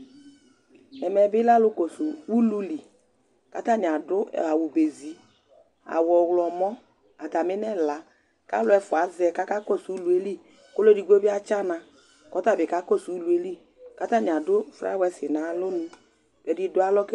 Ɛmɛ bɩ lɛ alʋkɔsʋ ulu li kʋ atanɩ adʋ awʋ ba ezi, awʋ ɔɣlɔmɔ atamɩ nʋ ɛla kʋ alʋ ɛfʋa avɛ kʋ akakɔsʋ ulu yɛ li kʋ ɔlʋ edigbo bɩ atsana kʋ ɔta bɩ kakɔsʋ ulu yɛ li kʋ atanɩ adʋ flawɛsɩ nʋ alɔnu Ɛdɩ dʋ alɔ